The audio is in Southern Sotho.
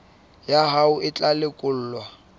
ya hao e tla lekolwa